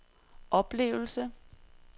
oplevelse